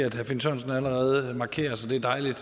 at herre finn sørensen allerede har markeret så det er dejligt